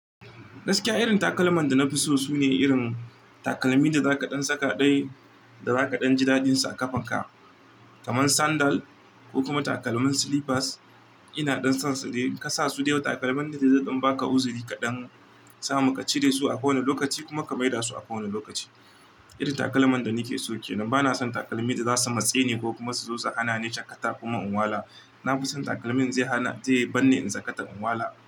Gaskiya irin takalman da na fi so sune irin takalmin da zaka ɗan saka ɗaya da zaka ɗan ji dadin su a kafa ka. Kaman sandal ko kuma takalmin slippers. Ina ɗan son su, dai kasa su da yawa takalmin da zai ɗan baka uzuri kaɗan, samu ka cire su a ƙowane lokaci kuma ka maida su a ƙowane lokaci. Irin takalman da nake so kenan, bana son takalmin da zasu matse ni ko kuma su zo su hana ni shakata kuma unwala. Na fi son takalmin zai hana, zai yi manne in saka ta unwala.